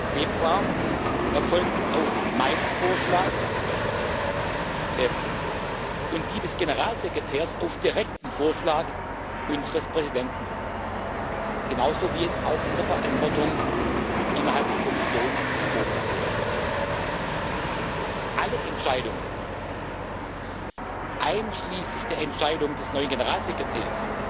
21. Februar erfolgten auf meinen Vorschlag, und die Entscheidung über den Generalsekretär auf direkten Vorschlag unseres Präsidenten genauso wie es auch in der Verantwortung innerhalb der Kommission vorgesehen ist. Alle Entscheidungen einschließlich der Entscheidung über den neuen Generalsekretär